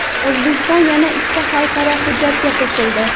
O‘zbekiston yana ikkita xalqaro hujjatga qo‘shildi.